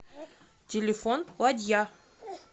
телефон ладья